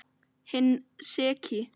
Hinn seki.